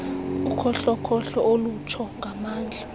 ukhohlokhohlo olutsho ngamandla